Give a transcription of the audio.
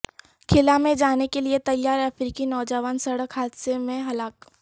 خلاء میں جانے کیلئے تیار افریقی نوجوان سڑک حادثہ میں ہلاک